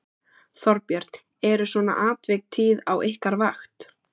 Þorbjörn: Eru svona atvik tíð á ykkar vakt?